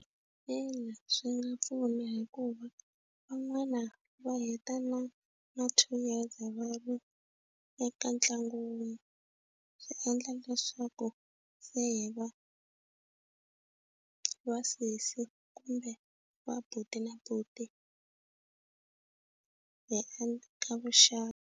Ina swi nga pfuna hikuva van'wana va heta na na two years vanhu eka ntlangu wun'we swi endla leswaku loko se va vasesi kumbe va buti na buti hi ka vuxaka.